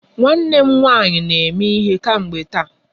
Nwanne m nwanyị na eme ihe kemgbe taa.